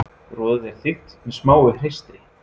Roðið er þykkt með smáu hreistri.